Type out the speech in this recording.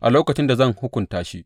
a lokacin da zan hukunta shi.